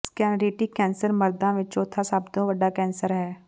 ਸਕੈਨਰੀਟਿਕ cancer ਮਰਦਾਂ ਵਿਚ ਚੌਥਾ ਸਭ ਤੋਂ ਵੱਡਾ ਕੈਂਸਰ ਹੈ